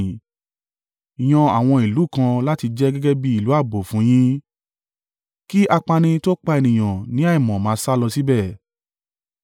yan àwọn ìlú kan láti jẹ́ gẹ́gẹ́ bí ìlú ààbò fún yín, kí apani tó pa ènìyàn ní àìmọ̀ máa sálọ síbẹ̀.